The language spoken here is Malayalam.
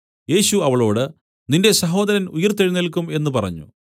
യേശു അവളോട് നിന്റെ സഹോദരൻ ഉയിർത്തെഴുന്നേല്ക്കും എന്നു പറഞ്ഞു